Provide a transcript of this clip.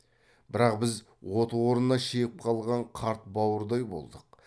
бірақ біз от орнына шегіп қалған қарт бауырдай болдық